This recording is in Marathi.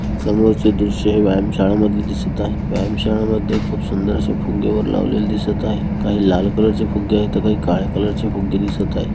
समोरचे दृश्य हे व्यायाम शाळामधली दिसत आहे व्यायाम शाळामध्ये खूप सुंदर असे फुगे वर लावलेले दिसत आहे काही लाल कलर च फुग्गे आहेत काही काळ्या कलर ची फुग्गे दिसत आहेत.